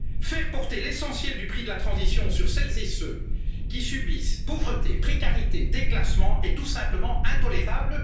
cher. Faire porter l'essentiel du prix de la transition sur celles et ceux qui subissent pauvreté, précarité, déclassement est tout simplement intolérable.